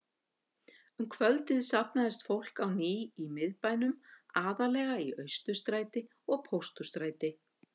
Um kvöldið safnaðist fólk á ný í Miðbænum, aðallega í Austurstræti og Pósthússtræti.